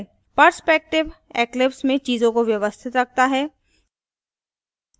perspective eclipse में चीजों को व्यवस्थित रखता है